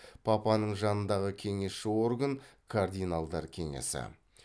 папаның жанындағы кеңесші орган кардиналдар кеңесі